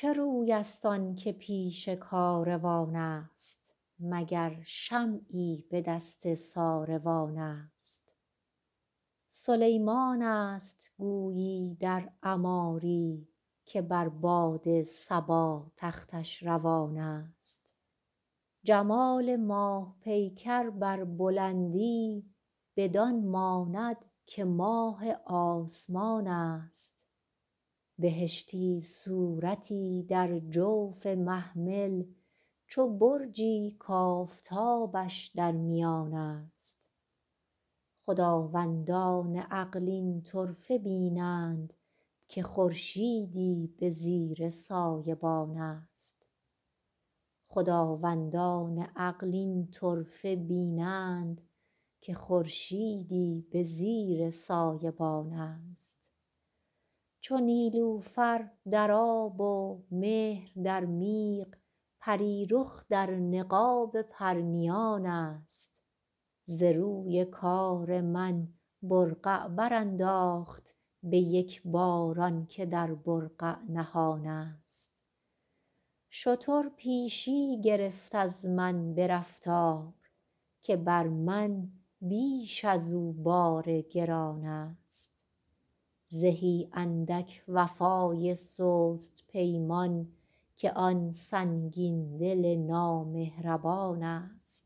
چه روی است آن که پیش کاروان است مگر شمعی به دست ساروان است سلیمان است گویی در عماری که بر باد صبا تختش روان است جمال ماه پیکر بر بلندی بدان ماند که ماه آسمان است بهشتی صورتی در جوف محمل چو برجی کآفتابش در میان است خداوندان عقل این طرفه بینند که خورشیدی به زیر سایبان است چو نیلوفر در آب و مهر در میغ پری رخ در نقاب پرنیان است ز روی کار من برقع برانداخت به یک بار آن که در برقع نهان است شتر پیشی گرفت از من به رفتار که بر من بیش از او بار گران است زهی اندک وفای سست پیمان که آن سنگین دل نامهربان است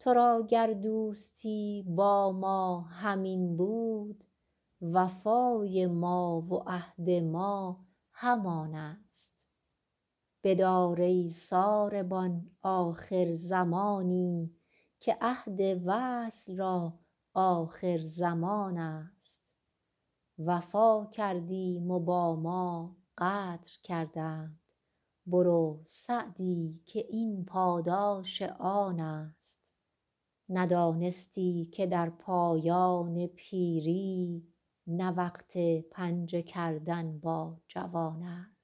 تو را گر دوستی با ما همین بود وفای ما و عهد ما همان است بدار ای ساربان آخر زمانی که عهد وصل را آخرزمان است وفا کردیم و با ما غدر کردند برو سعدی که این پاداش آن است ندانستی که در پایان پیری نه وقت پنجه کردن با جوان است